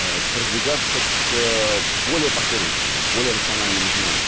продвигаться к более последовательному более рациональному знанию